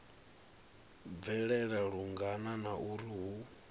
bvelela lungana na uri hu